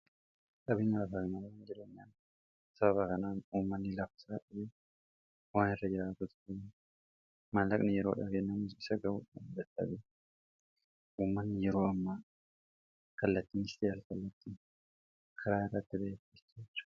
dhabiinalafaknaa wan jileenyaan saba bakanaan uummanni laafsaa dhabee waan irra jaraatutabai maanlaqni yeroo dhageenamus isa gabuudan dattabe uumanni yeroo ammaa kallattiin istayaal kallattiin karaa irraatti baatestiraca